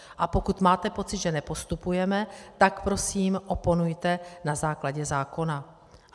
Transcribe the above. A pokud máte pocit, že nepostupujeme, tak prosím oponujte na základě zákona.